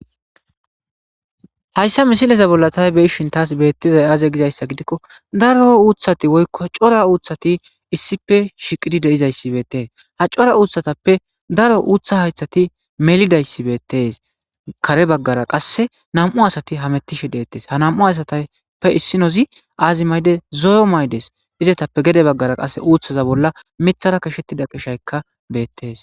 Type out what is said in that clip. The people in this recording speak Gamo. Haysa Misileza Bolla Ta Be'ishin Tas Bethizay Aaze Gizaysa Gidiko Daro Uththati Woykko Cora Uththati Issippe Shiqidi De'izaysi Beetes Ha Cora Uththatappe Daro Uththa Haythati Melidaysi Beetes Kare Bagara Qase Nam'u Asati Hamutishe Detes Ha Nam'u Asatappe Isinozi Aazi Ma'ide Zo'o Maydes Izatappe Gede Bagara Qase Uththaza Bola Miththara Qashetiza Qasheka Beetes